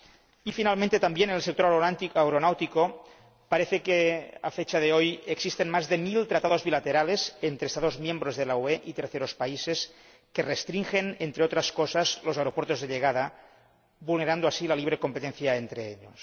Y, finalmente, también en el sector aeronáutico parece ser que, a fecha de hoy, existen más de mil tratados bilaterales entre Estados miembros de la UE y terceros países que restringen, entre otras cosas, los aeropuertos de llegada, vulnerando así la libre competencia entre ellos.